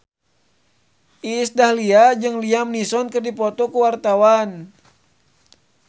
Iis Dahlia jeung Liam Neeson keur dipoto ku wartawan